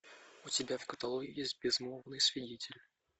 у тебя в каталоге есть безмолвный свидетель